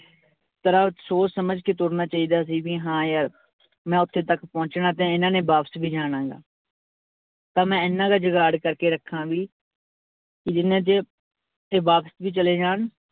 ਤਰ੍ਹਾਂ ਸੋਚ ਸਮਝ ਕੇ ਤੁਰਨਾ ਚਾਹੀਦਾ ਸੀ ਵੀ ਹਾਂ ਯਾਰ ਮੈਂ ਉੱਥੇ ਤੱਕ ਪਹੁੰਚਣਾ ਤੇ ਇਹਨਾਂ ਨੇ ਵਾਪਿਸ ਵੀ ਜਾਣਾ ਗਾ ਤਾਂ ਮੈਂ ਇੰਨਾ ਕੁ ਜੁਗਾੜ ਕਰਕੇ ਰੱਖਾਂ ਵੀ ਕਿ ਜਿੰਨੇ 'ਚ ਇਹ ਵਾਪਿਸ ਵੀ ਚਲੇ ਜਾਣ